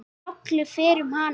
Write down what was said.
Hrollur fer um hana.